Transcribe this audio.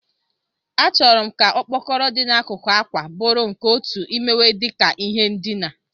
Achọrọ m ka okpokoro dị n'akụkụ àkwà bụrụ nke otu imewe dị ka ihe ndina.